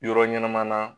Yɔrɔ ɲɛnama na